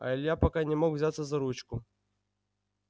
а илья пока не мог взяться за ручку